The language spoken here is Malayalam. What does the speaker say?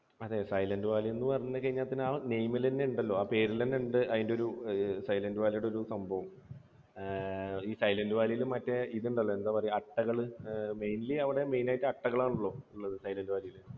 അതെ സൈലൻറ് വാലി എന്ന് പറഞ്ഞു കഴിഞ്ഞാൽ തന്നെ, ആ name ൽ തന്നെ ഉണ്ടല്ലോ ആ പേരിൽ തന്നെയുണ്ട് അതിൻറെ ഒരു ഏർ സൈലൻറ് വാലി യുടെ ഒരു സംഭവം. ഏർ ഈ സൈലൻറ് വാലിയിൽ മറ്റേ ഇത് ഉണ്ടല്ലോ അട്ടകൾ. mainly അവിടെ main ആയിട്ട് അട്ടകളാണുള്ളത് ഈ സൈലൻറ് വാലിയിൽ.